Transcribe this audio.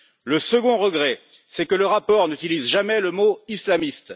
Le second regret, c'est que le rapport n'utilise jamais le mot islamiste.